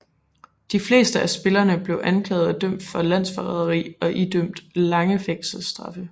De fleste af spillerne blev anklaget og dømt for landsforræderi og idømt lange fængselsstraffe